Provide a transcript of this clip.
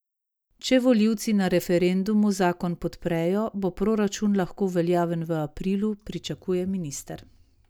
Če volivci na referendumu zakon podprejo, bo proračun lahko veljaven v aprilu, pričakuje minister.